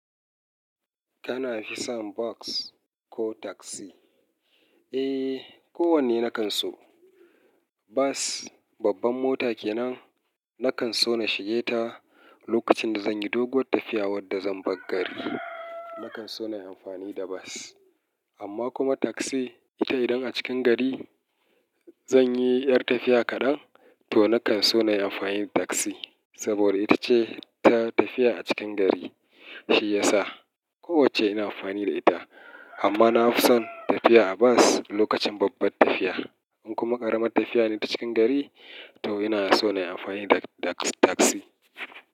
Kana fi son bas ko taksi? Eh, kowanne na kan so. Bas, babban mota kenan, na kan so na shige ta lokacin da zan yi doguwar tafiya wadda zan bar gari. Na kan so na yi amfani da bas. Amma kuma taksi, ita idan a cikin gari zan yi ƴar tafiya kaɗan, to na kan so na yi amfani da taksi. Saboda ita ce ta tafiya a cikin gari, shi ya sa. Kowacce ina amfani da ita. Amma na fi son tafiya a bas lokacin babbar tafiya. In kuma ƙaramar tafiya ne ta cikin gari, to ina so na yi amfani da ta-tak-taksi.